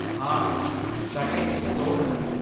ਹਾਂ, ਸਾਡੇ ਇੱਥੇ ਦੋ ਹਨ।